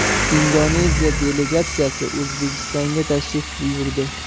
Indoneziya delegatsiyasi O‘zbekistonga tashrif buyurdi.